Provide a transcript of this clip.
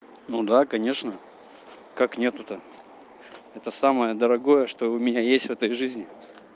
ну да конечно как нет то это самое дорогое что у меня есть в этой жизни